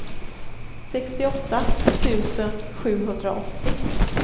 sextioåtta tusen sjuhundraåttio